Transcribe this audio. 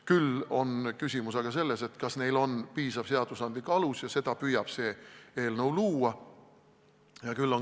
Küll aga on küsimus selles, kas neil on piisav seadusandlik alus, ja seda püüab see eelnõu luua.